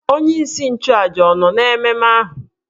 Onye isi nchụàjà ọ̀ nọ n'ememe ahụ?